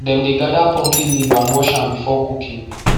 dem dey gather pumpkin leaf and wash am before cooking